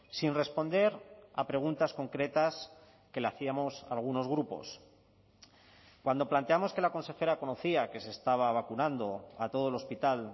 sin responder a preguntas concretas que le hacíamos algunos grupos cuando planteamos que la consejera conocía que se estaba vacunando a todo el hospital